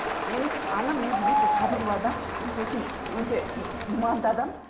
менің анам өзі өте сабырлы адам сосын өте иманды адам